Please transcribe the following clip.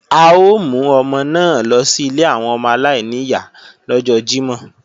À ó mú ọmọ náà lọ sí ilé àwọn ọmọ aláìníyá lọ́jọ́ Jímọ̀